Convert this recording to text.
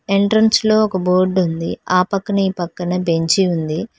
Entrance లో ఒక board ఉంది ఆ పక్కన ఈ పక్కన బెంచి ఉంది.